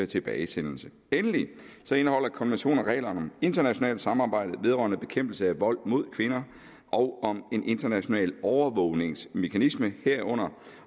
tilbagesendelse endelig indeholder konventionen regler om internationalt samarbejde vedrørende bekæmpelse af vold mod kvinder og om en international overvågningsmekanisme herunder